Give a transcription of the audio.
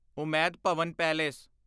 Umaid Bhawan palace